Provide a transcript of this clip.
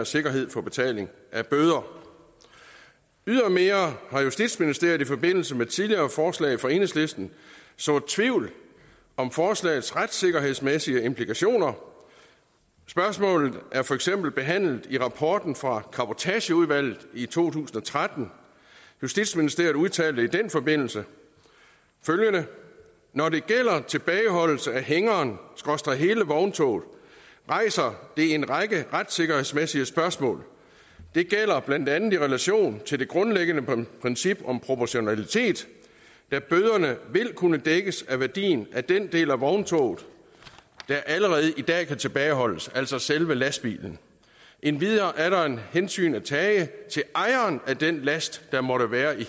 sikkerhed for betaling af bøder ydermere har justitsministeriet i forbindelse med tidligere forslag fra enhedslisten sået tvivl om forslagets retssikkerhedsmæssige implikationer spørgsmålet er for eksempel behandlet i rapporten fra cabotageudvalget i to tusind og tretten justitsministeriet udtalte i den forbindelse følgende når det gælder tilbageholdelse af hængerenhele vogntoget rejser det en række retssikkerhedsmæssige spørgsmål det gælder blandt andet i relation til det grundlæggende princip om proportionalitet da bøderne vil kunne dækkes af værdien af den del af vogntoget der allerede i dag kan tilbageholdes altså selve lastbilen endvidere er der et hensyn at tage til ejeren af den last der måtte være i